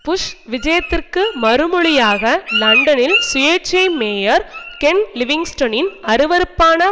push விஜயத்திற்கு மறுமொழியாக லண்டனின் சுயேட்சை மேயர் கென் லிவிங்ஸ்டனின் அருவருப்பான